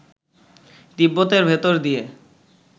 তিব্বতের ভেতর দিয়ে